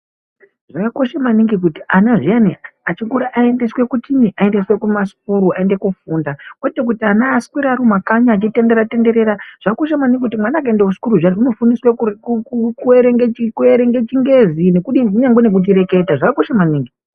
Zvakakosha maningi kuti ana zviyani achikura aendeswe kuchiinyi, aendeswe kumasukuru aende kofunda kwete kuti ana aswere arimumakanyi eitenderera tendera zvakakosha maningi kuti mwana akaenda kusukuru zviyani unofundiswa kuerenge chingezi nekudini, kunyangwe nekuchireketa zvakakosha maningi.